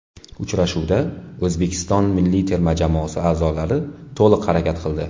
Uchrashuvda O‘zbekiston milliy terma jamoasi a’zolari to‘liq harakat qildi.